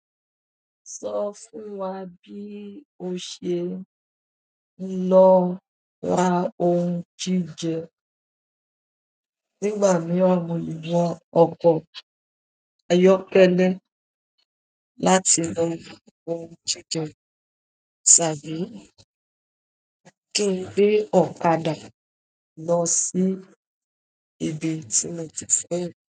Sọ fún wa bí o ṣe ń lọ ra oun jíjẹ. Nígbà mí mo wọ̀ ọkọ̀ ayọ́kẹ́lẹ́ láti lọ ra oun jíjẹ, tàbí kí n gbé ọ̀kadà lọ sí ibi tí mo ti fẹ́ lọ.